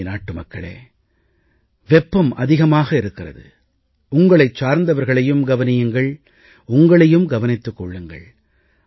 எனதருமை நாட்டுமக்களே வெப்பம் அதிகமாக இருக்கிறது உங்களைச் சார்ந்தவர்களையும் கவனியுங்கள் உங்களையும் கவனித்துக் கொள்ளுங்கள்